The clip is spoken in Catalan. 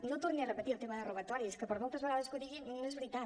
no torni a repetir el tema de robatoris que per moltes vegades que ho digui no és veritat